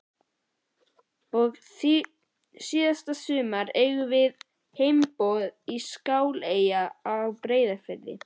Og síðsumars eigum við heimboð í Skáleyjar á Breiðafirði.